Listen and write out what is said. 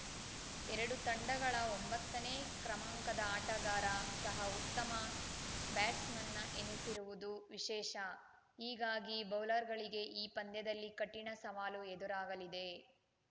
ಎರಡೂ ತಂಡಗಳ ಒಂಬತ್ತನೇ ಕ್ರಮಾಂಕದ ಆಟಗಾರ ಸಹ ಉತ್ತಮ ಬ್ಯಾಟ್ಸ್‌ಮನ್‌ ಎನಿಸಿರುವುದು ವಿಶೇಷ ಹೀಗಾಗಿ ಬೌಲರ್‌ಗಳಿಗೆ ಈ ಪಂದ್ಯದಲ್ಲಿ ಕಠಿಣ ಸವಾಲು ಎದುರಾಗಲಿದೆ